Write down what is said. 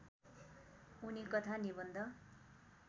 उनी कथा निबन्ध